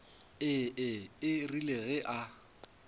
ee e rile ge a